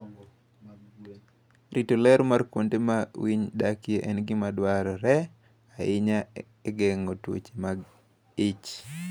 Rito ler mar kuonde ma winy dakie en gima dwarore ahinya e geng'o tuoche mag ich.